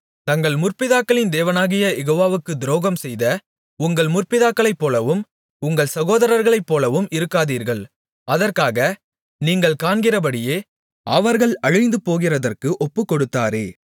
தங்கள் முற்பிதாக்களின் தேவனாகிய யெகோவாவுக்கு துரோகம்செய்த உங்கள் முற்பிதாக்களைப்போலவும் உங்கள் சகோதரர்களைப்போலவும் இருக்காதீர்கள் அதற்காக நீங்கள் காண்கிறபடியே அவர்கள் அழிந்துபோகிறதற்கு ஒப்புக்கொடுத்தாரே